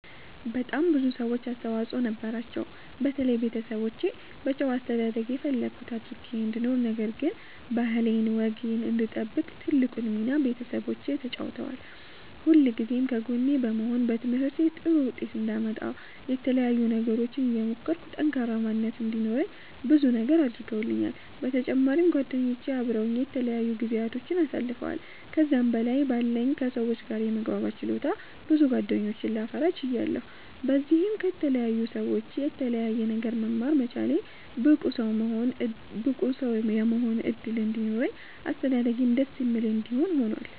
በጣም ብዙ ሰዎች አስተዋፅኦ ነበራቸዉ። በተለይ ቤተሰቦቼ በጨዋ አስተዳደግ የፈለኩት አድርጌ እንድኖር ነገር ግን ባህሌን ወጌን እንድጠብቅ ትልቁን ሚና ቤተሰቦቼ ተጫዉተዋል። ሁልጊዜም ከጎኔ በመሆን በትምህርቴ ጥሩ ዉጤት አንዳመጣ የተለያዩ ነገሮችን እየሞከርኩ ጠንካራ ማንነት እንዲኖረኝ ብዙ ነገር አድርገዉልኛል። በተጫማሪም ጓደኞቼ አበረዉኝ የተለያዩ ጊዚያቶችን አሳልፈዋል። ከዛም በላይ በለኝ ከ ሰዎች ጋር የመግባባት ችሎታ ብዙ ጌደኞችን ላፈራ ችያለሁ። በዚህም ከተለያዩ ሰዎች የተለያየ ነገር መማር መቻሌ ብቁ ሰዉ የመሆን እድል እንዲኖረኝ አስተዳደጌም ደስ የሚል እንዲሆን ሁኗል።